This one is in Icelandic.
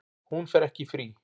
Hún fer ekki í frí.